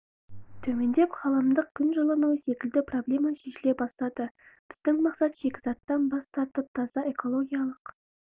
төмендеп ғаламдық күн жылынуы секілді проблема шешіле бастайды біздің мақсат шикізаттан бас тартып таза экологиялық